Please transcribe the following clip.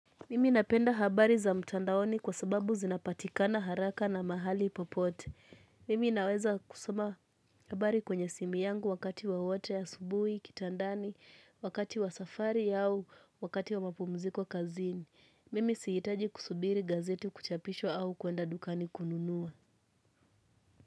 Mimi napenda habari za mtandaoni kwa sababu zinapatikana haraka na mahali popote. Mimi naweza kusoma habari kwenye simu yangu wakati wowote asubuhi, kitandani, wakati wa safari au, wakati wa mapumziko kazini. Mimi siitaji kusubiri gazeti kuchapishwa au kuenda dukani kununua.